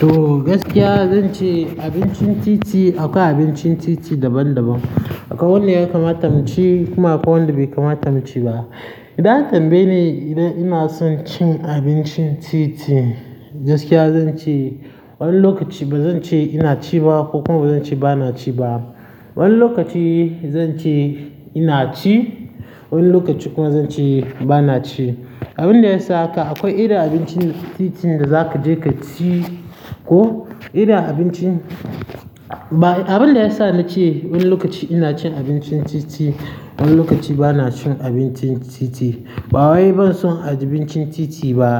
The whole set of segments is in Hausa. To gaskiya zan ce abincin titi akwai abincin titi daban-daban. Akwai wanda ya kamata mu ci kuma akwai wanda bai kamata mu ci ba. Idan an tambaye ni idan ina son cin abincin titi, gaskiya zan ce wani lokaci ba zan ce ina ci ba ko kuma zan ce ba na ci ba. Wani lokaci zan ce ina ci, wani lokaci kuma zan ce ba na ci. Abin da ya sa haka akwai irin abincin titi da za ka je ka ci ko irin abincin ba, abin da ya sa na ce wani lokaci ina cin abincin titi, wani lokaci ba na cin abincin titi. Ba wai banson abincin titi ba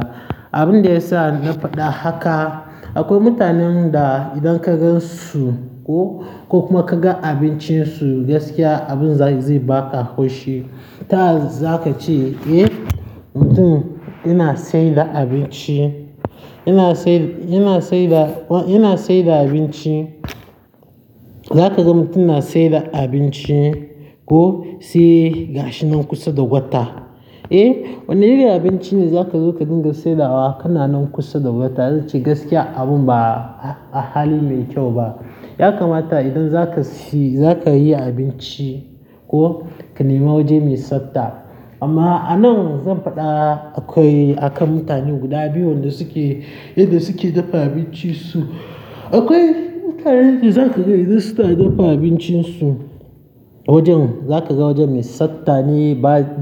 abin da ya sa na faɗa haka akwai mutanen da idan ka gan su ko kuma ka ga abincin su gaskiya abin zai, zai baka hoshi. Taya za ka ce, eh, mutum yana saida abinci, yana saida, yana saida, yana saida abinci. Za ka ga mutum na saida abinci ko sai gashi nan kusa da gwata. Eh, wane irin abinci ne za ka zo ka dinga saidawa kana nan kusa da gwata? Zan ce gaskiya abun ba a-a hali mai kyau ba. Ya kamata idan za ka si, za ka yi abinci ko ka nemi waje mai tsafta amma a nan zan faɗa akwai akan mutane guda biyu wanda suke inda suke dafa abinci su. Akwai mutanen da za ka ga idan su ta dafa abincin su, wajen za ka ga waje mai satta ne,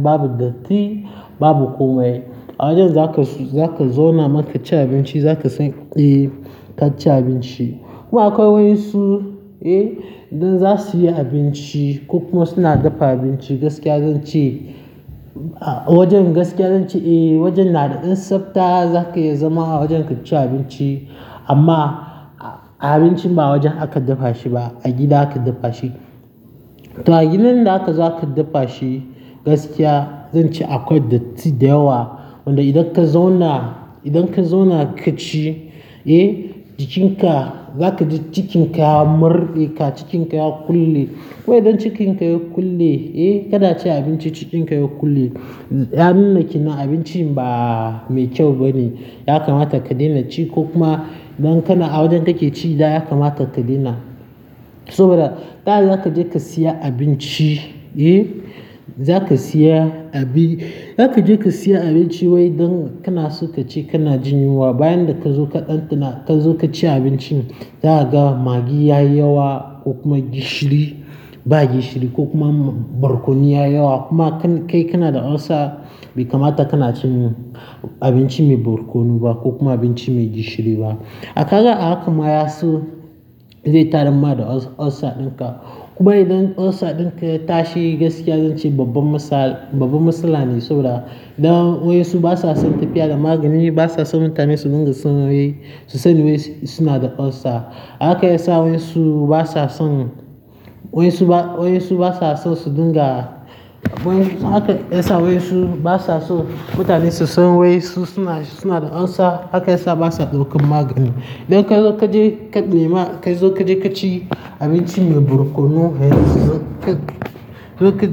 babu datti, babu komai. A wajen za ka su, za ka zauna maka ci abinci za ka san, eh, ka ci abinci. Kuma akwai wayansu eh idan za suyi abinci ko kuma suna dafa abinci gaskiya zan ce wajen gaskiya zan ce wajen nada dan tsafta zaka iya zama a wajen ka ci abinci amma abincin ba a wajen aka dafa shi ba, a gida aka dafa shi to a gidan da aka zo aka dafa shi, gaskiya zan ce akwai datti da yawa. Wanda idan ka zauna, idan ka zauna ka ci, eh, jikinka za ka ji cikinka ya murde ka, cikinka ya kulle. Kuma idan cikinka ya kulle, eh, ka na ci abinci cikinka ya kulle, ya nuna kenan abincin ba mai kyau bane. Ya kamata ka daina ci ko kuma idan kana a wajen kake ci da ya kamata ka daina. Saboda taya za ka je ka siya abinci, eh, za ka siya abi, za ka je ka siya abinci wai dan kana so ka ci kana jin yunwa. Bayan da ka zo ka ɗandana ka zo ka ci abincin, za a ga maggi yayi yawa ko kuma gishiri, ba gishiri ko kuma barkono yayi yawa. Kuma kai kana da ulcer bai kamata kana cin abinci mai barkono ba ko kuma abinci mai gishiri ba. Kaga a hakan ma ya so zai tayar ma da ulcer dinka. Kuma idan ulcer dinka ya tashi gaskiya zan ce babba masal, babban matsala ne saboda dan wayansu basa son tafiya da magginu, basa son mutane su dunga su san wai su sani wai suna da ulcer. Haka ya sa wayansu basa son, wayansu ba, wayansu basa so su dinga, wayansu haka ya sa wayansu basa so mutane su san wai su suna, suna da ulcer. Haka ya sa basa daukan magani idan kazo ka je ka nema kazo ka je ka ci abinci mai barkono har ka zo ka je, ka zo ka.